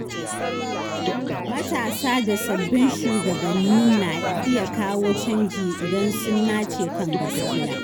Matasa da sabbin shugabanni na iya kawo canji idan sun nace kan gaskiya.